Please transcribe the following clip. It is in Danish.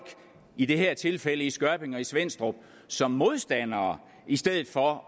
i det her tilfælde i skørping og i svenstrup som modstandere i stedet for